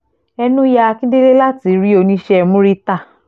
ẹnu ya akíndélé láti rí oníṣẹ́ murità